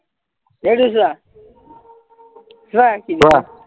এইটো চোৱা চোৱা